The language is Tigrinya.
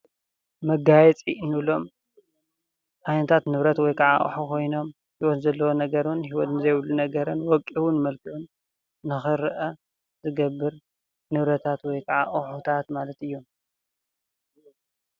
መጋየፂ እንብሎም ዓይነታት ንብረት ወይ ከዓ አቁሑ ኮይኖም ሂወት ዘለዎ ነገርን ሂወት ዘይብሉ ነገርን ወቂቡን መልኪዑን ንክረአ ዝገብር ንብረታት ወይ ከዓ አቁሑታት ማለት እዩ።